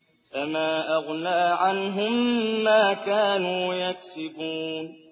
فَمَا أَغْنَىٰ عَنْهُم مَّا كَانُوا يَكْسِبُونَ